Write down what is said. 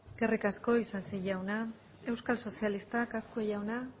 eskerrik asko isasi jauna euskal sozialistak azkue jauna